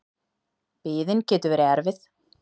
Biðin getur verið erfið.